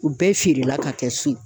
U bɛɛ feere la ka kɛ so ye